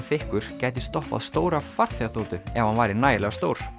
þykkur gæti stoppað stóra farþegaþotu ef hann væri nægilega stór